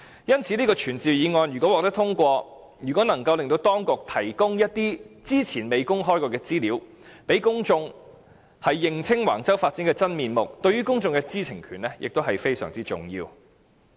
因此，如果這項傳召議案獲得通過，能令當局提供一些之前未曾公開的資料，讓公眾認清橫洲發展的真面目，對於公眾的知情權亦非常重要。